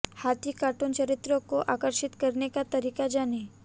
हाथी कार्टून चरित्र को आकर्षित करने का तरीका जानें